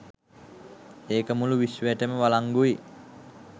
ඒක මුළු විශ්වයටම වලංගුයි.